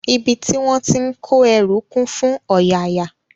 Ibi tí wón ti ń kó ẹrú kún fún ọ̀yààyà